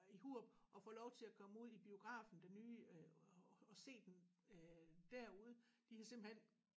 I Hurup at få lov til at komme ud i biografen den nye øh og se den øh derude de har simpelthen